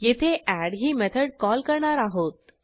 येथे एड ही method call करणार आहोत